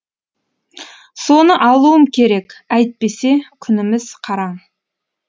соны алуым керек әйтпесе күніміз қараң